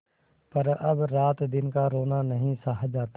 पर अब रातदिन का रोना नहीं सहा जाता